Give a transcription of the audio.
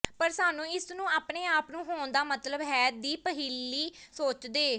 ਪਰ ਸਾਨੂੰ ਇਸ ਨੂੰ ਆਪਣੇ ਆਪ ਨੂੰ ਹੋਣ ਦਾ ਮਤਲਬ ਹੈ ਦੀ ਪਹਿਲੀ ਸੋਚਦੇ